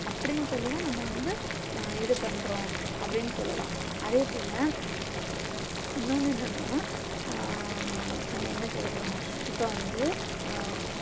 அப்டின்னு சொல்லி தான் நம்ம வந்து இது பண்றோம் அப்டின்னு சொல்லலாம் அதே போல இன்னொன்னு என்னன்னா அ அ நம்ம என்ன சொல்றோம் இப்போ வந்து